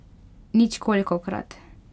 Nič kolikokrat!